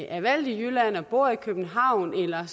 er valgt i jylland og bor i københavn eller